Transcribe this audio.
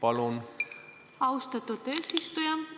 Austatud eesistuja!